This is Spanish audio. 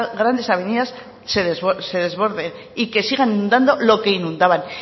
grandes avenidas se desborden y que sigan inundando lo que inundaban